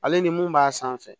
Ale ni mun b'a sanfɛ